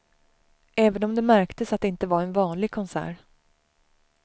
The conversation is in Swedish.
Även om det märktes att det inte var en vanlig konsert.